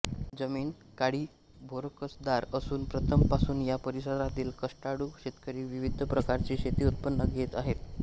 जमीन काळीभोरकसदार असून प्रथम पासून या परिसरातील कष्टाळू शेतकरी विविध प्रकारची शेती उत्पन घेत आहेत